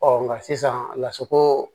Ɔ nka sisan lasago